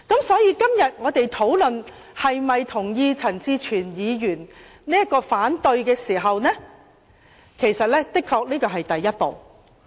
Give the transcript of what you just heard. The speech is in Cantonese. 所以，我們現在討論是否同意陳志全議員因反對譴責議案而提出的這項議案，的確是第一步。